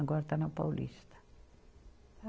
Agora está na Paulista.